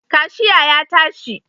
Kashiya ya tashi